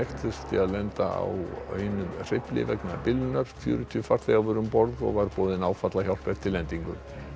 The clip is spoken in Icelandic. þurfti að lenda á einum hreyfli vegna bilunar fjörutíu farþegar voru um borð var boðin áfallahjálp eftir lendingu